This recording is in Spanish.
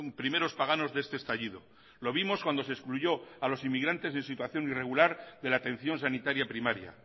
primeros paganos de este estallido lo vimos cuando se excluyó a los inmigrantes en situación irregular de la atención sanitaria primaria